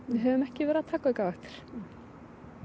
höfum ekki að vera að taka aukavaktir